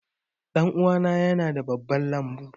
Ɗanuwana yana da babban lambu.